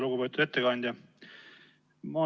Lugupeetud ettekandja!